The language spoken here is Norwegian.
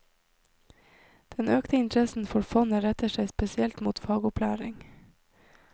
Den økte interessen for fondet retter seg spesielt mot fagopplæring.